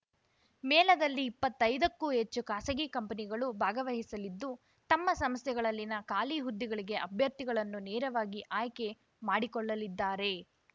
ಮೇಳದಲ್ಲಿ ಇಪ್ಪತ್ತೈದಕ್ಕೂ ಹೆಚ್ಚು ಖಾಸಗಿ ಕಂಪನಿಗಳು ಭಾಗವಹಿಸಲಿದ್ದು ತಮ್ಮ ಸಂಸ್ಥೆಗಳಲ್ಲಿನ ಖಾಲಿ ಹುದ್ದೆಗಳಿಗೆ ಅಭ್ಯರ್ಥಿಗಳನ್ನು ನೇರವಾಗಿ ಆಯ್ಕೆಮಾಡಿ ಕೊಳ್ಳಲಿದ್ದಾರೆ